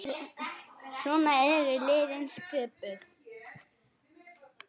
Svona eru liðin skipuð